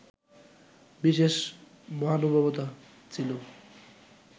বিশেষ মহানুভবতা ছিল